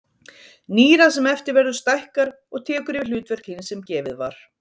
Nýrað sem eftir verður stækkar og tekur yfir hlutverk hins sem gefið var.